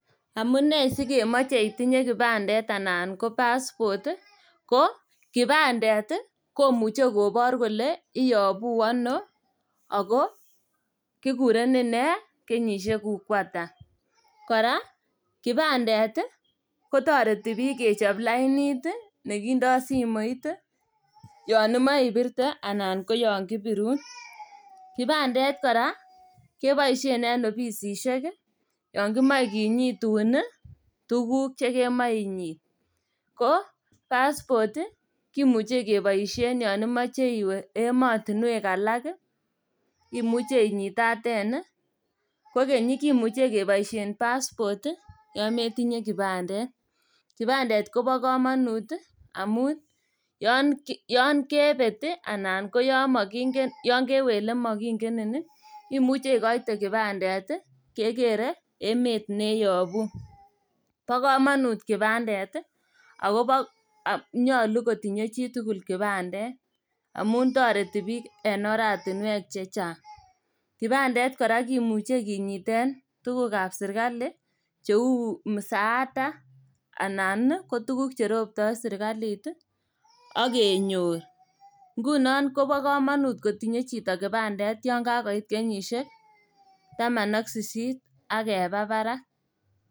Amunei sikemoche itinye kipandet anan ko passport ko kipandet ii komuche kobor kole iyobu ono, oko kikurenen nee, kenyisiekuk koata. Kora kotoreti biik kechop lainit ii nekindo simoit yon imoche ipirte anan koyon kibirun. Kipandet kora keboisien en opisisiek yon kimoche kinyitun tuguk chekemoche inyit. Ko passport ii kimuche keboisien yon imoche iwe emotinwek alak ii imuche inyitaten ii, kokeny ii kimuche keboisien passport yon metinye kipandet. Kipandet kobo komonut ii amun yon ki kebet ii anan koyon mokinke ana kewe ile mokinkenin ii imuche ikoite kipandet ii kekere emet neyobu. Bo komonut kipandet ii ago bo nyolu kotinye chitugul kipandet amun toreti biik en oratinwek chechang'. Kipandet kora kimuche kinyiten tugukab sirkali cheu musaata, anan ii kotukuk cheropto sirkalit ii ak kenyor. Ngunon kobo komonut kotinye chito kipandet yon kakoit kenyisiek taman ak sisit ak keba barak.